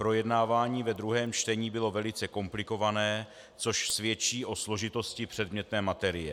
Projednávání ve druhém čtení bylo velice komplikované, což svědčí o složitosti předmětné materie.